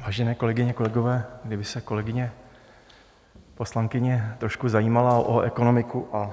Vážené kolegyně, kolegové, kdyby se kolegyně poslankyně trošku zajímala o ekonomiku a